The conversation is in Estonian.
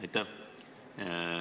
Aitäh!